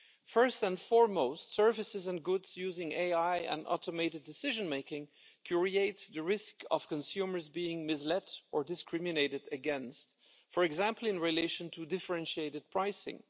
First and foremost, services and goods using AI and automated decision making create the risk of consumers being misled or discriminated against, for example, in relation to differentiated pricing.